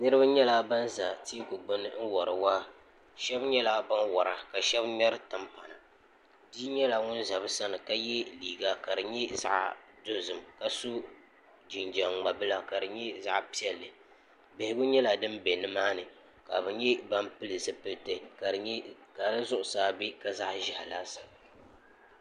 niriba nyɛla ban za tɛgu gbani n wariwaa shɛb' nyɛla ban wara ka shɛb ŋmɛri tɛmpana bi nyɛla ŋɔ za bi sani ka yɛ liga ka di nyɛ zaɣ' nuɣisu ka so jijam ŋmebila kari nyɛ zaɣ' piɛli bɛhigu nyɛla dinbɛni maa ni ka be nyɛ ban bili zipɛlisi ka di zuɣ' saa bɛ ka zaɣ' ʒiɛ laasabu